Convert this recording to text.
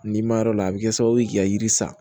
N'i ma yɔrɔ la a bi kɛ sababu ye k'i ka yiri san